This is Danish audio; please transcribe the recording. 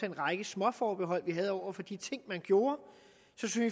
en række småforbehold over for de ting man gjorde